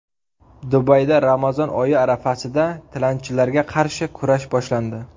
Dubayda Ramazon oyi arafasida tilanchilarga qarshi kurash boshlandi.